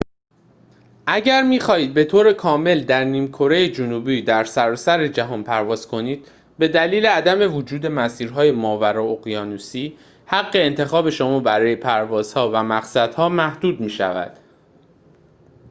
اگر می‌خواهید به‌طور کامل در نیم‌کره جنوبی در سراسر جهان پرواز کنید به دلیل عدم وجود مسیرهای ماورای اقیانوسی حق انتخاب شما برای پروازها و مقصدها محدود می‌شود